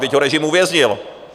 Vždyť ho režim uvěznil.